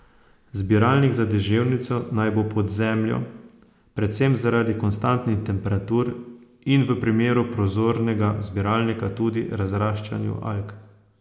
Zbiralnik za deževnico naj bo pod zemljo, predvsem zaradi konstantnih temperatur in v primeru prozornega zbiralnika tudi razraščanju alg.